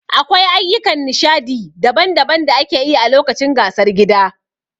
Akwai ayyukan nishadi daban-daban da ake yi a lokacin gasar gida.